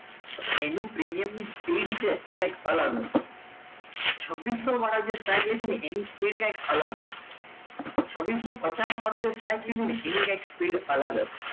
તો એનો premium speed છે એ કંઈક અલગ હશે છ્બિસો વાળા સાઇડ લીધી અને એની સ્પીડ કા કાલા હશે છ્બિસો પચાસ વાળું જે સાઈડ લીધું અને એની કંઈક સ્પીડ અલગ હશે